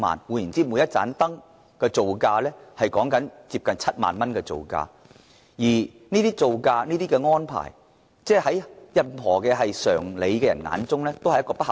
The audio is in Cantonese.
換言之，每一盞燈的造價接近7萬元，而這個造價在有常理的人的眼中一定極不合理。